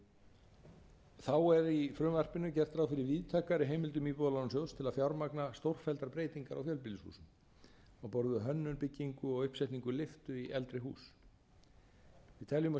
þá er í frumvarpinu gert ráð fyrir víðtækari heimildum íbúðalánasjóðs til að fjármagna stórfelldar breytingar á fjölbýlishúsum á borð við hönnun byggingu og uppsetningu lyftu í eldri hús við teljum að